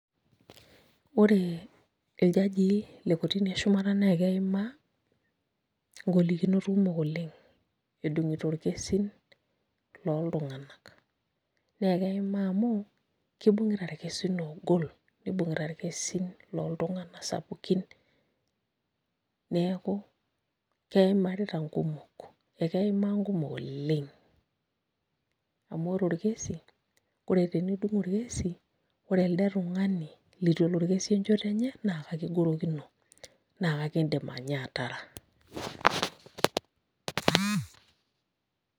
Ore irjajii lekotini eshumata na eima ngolikinot kumok oleng edungito orkesin loltunganak, na keima amu kibungita irkesin ogol nibungita irkesin loltunganak sapukin neaku keimarita nkumok, akeimaw nkumok oleng amu ore orkesi ore teneibung orkesi ore elde tungani lituelo orkesi enchoto enye na ekigorokinona ekindim nye ataara.